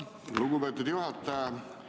Lugupeetud juhataja!